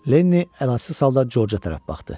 Lenni əlacısız halda Corca tərəf baxdı.